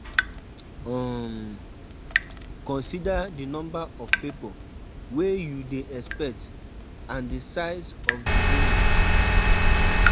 um Consider di number of pipo wey you dey expect and di size of di venue